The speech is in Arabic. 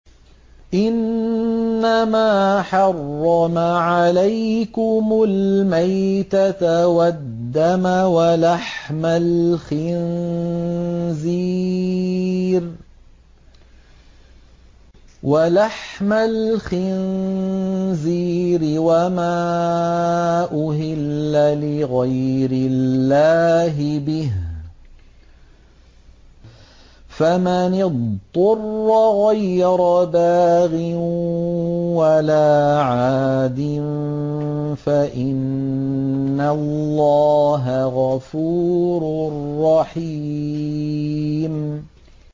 إِنَّمَا حَرَّمَ عَلَيْكُمُ الْمَيْتَةَ وَالدَّمَ وَلَحْمَ الْخِنزِيرِ وَمَا أُهِلَّ لِغَيْرِ اللَّهِ بِهِ ۖ فَمَنِ اضْطُرَّ غَيْرَ بَاغٍ وَلَا عَادٍ فَإِنَّ اللَّهَ غَفُورٌ رَّحِيمٌ